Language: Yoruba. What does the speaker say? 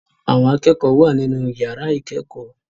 Àwọn akẹ́kọ̀ọ́ wà nínú ìyàrá ìkẹ́kọ̀ọ́.